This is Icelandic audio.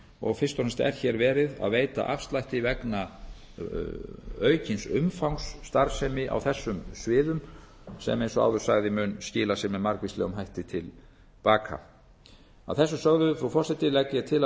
og fremst er hér verið að veita afslætti vegna aukins umfangs starfsemi á þessum sviðum sem eins og áður sagði mun skila sér með margvíslegum hætti til baka stað þessu sögðu frú forseti legg ég til að frumvörpunum